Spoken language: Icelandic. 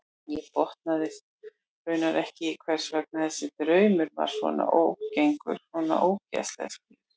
Hann botnaði raunar ekki í hvers vegna þessi draumur var svona ágengur, svona ógurlega skýr.